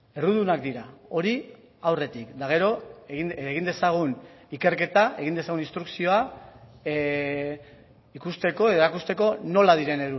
errudunak dira hori aurretik eta gero egin dezagun ikerketa egin dezagun instrukzioa ikusteko erakusteko nola diren